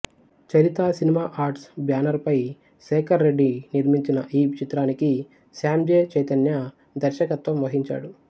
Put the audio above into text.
చరిత cinema arts banner పై శేఖర్ రెడ్డి నిర్మించిన ఈ చిత్రానికి శ్యామ్ జె చైతన్య దర్శకత్వం వహించాడు